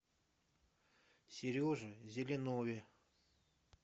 сереже зеленове